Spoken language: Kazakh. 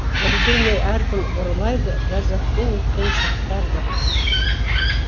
білдірмей әр күн ұрлайды ләззатпен өткен шақтарды